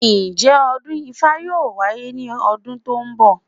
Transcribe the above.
Ǹjẹ́ ọdún ifá yóò wáyé ní ọdún tó ń bọ̀?